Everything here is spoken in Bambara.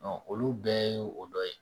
olu bɛɛ ye o dɔ ye